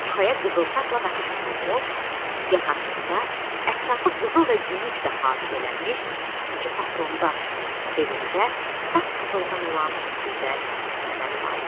Çuxaya qızıl safla naxış vurulmuş, yaxasında, ətrafı qızıl və gümüşlə haşiyələnmiş iki patron daş, belində saf qızıldan olan gözəl kəmər vardı.